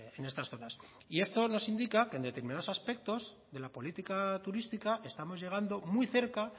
en estas zonas y esto nos indica que en determinados aspectos de la política turística estamos llegando muy cerca